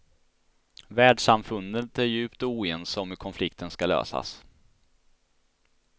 Världssamfundet är djupt oense om hur konflikten ska lösas.